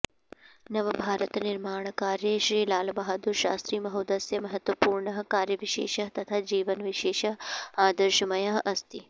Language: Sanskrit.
नवभारतनिर्माणकार्ये श्रीलालबहदुरशास्त्रिमहोदयस्य महत्वपूर्णः कार्यविशेषः तथा जीवनविशेषः आदर्शमयः अस्ति